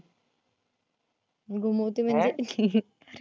घुमवते म्हणजे